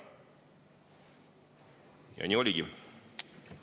Ja nii oligi.